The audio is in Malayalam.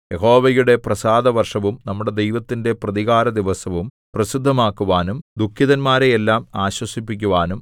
യഹോവയുടെ പ്രസാദവർഷവും നമ്മുടെ ദൈവത്തിന്റെ പ്രതികാരദിവസവും പ്രസിദ്ധമാക്കുവാനും ദുഃഖിതന്മാരെയെല്ലാം ആശ്വസിപ്പിക്കുവാനും